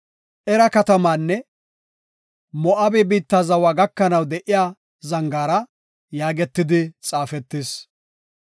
Era katamaanne Moo7abe biitta zawa gakanaw de7iya zangaara” yaagetidi xaafetis.